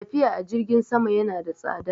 Tafiya a jirgin sama yana da tsada.